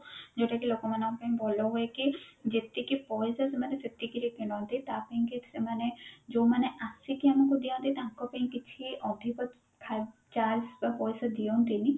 ଯୋଉଟା କି ଲୋକମାନଙ୍କ ପାଇଁ ଭଲ ହୁଏ କି ଯେତିକି ପଇସା ସେମାନେ ସେତିକିରେ କିଣନ୍ତି ତା ପାଇଁ କି ସେମାନେ ଯୋଉମାନେ ଆସିକି ଆମକୁ ଦିଅନ୍ତି ତାଙ୍କ ପାଇଁ କିଛି ଅଧିକ ଖ charge ବା ପଇସା ଦିଅନ୍ତିନି